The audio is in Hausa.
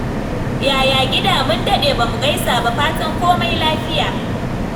Yaya gida? Mun daɗe bamu gaisa ba. Fatan komai lafiya.